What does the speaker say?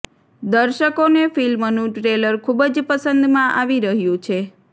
દર્શકો ને ફિલ્મનું ટ્રેલર ખુબ જ પસંદ માં આવી રહ્યું છે